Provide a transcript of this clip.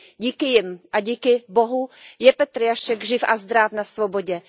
Díky nim a díky Bohu je Petr Jašek živ a zdráv na svobodě.